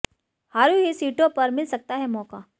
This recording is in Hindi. हारी हुई सीटों पर मिल सकता है मौका